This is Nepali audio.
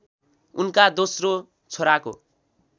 उनका दोस्रो छोराको